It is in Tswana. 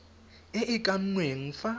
e e kannweng fa